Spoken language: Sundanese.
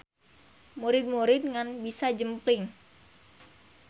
Murid-murid ngan bisa jempling.